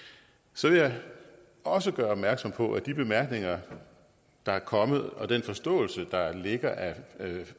så vil jeg også gøre opmærksom på at de bemærkninger der er kommet og den forståelse der ligger af